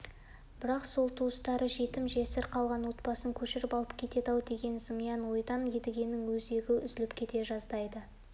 бірақ сол туыстары жетім-жесір қалған отбасын көшіріп алып кетеді-ау деген зымиян ойдан едігенің өзегі үзіліп кете жаздайды